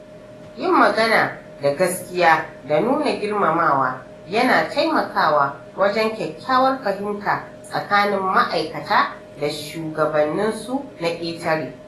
Yin magana da gaskiya da nuna girmamawa yana taimakawa wajen kyakkyawar fahimta tsakanin ma’aikata da shugabanninsu na ƙetare.